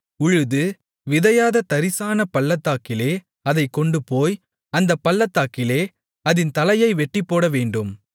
உழுது விதையாத தரிசான பள்ளத்தாக்கிலே அதைக் கொண்டுபோய் அந்தப் பள்ளத்தாக்கிலே அதின் தலையை வெட்டிப்போடவேண்டும்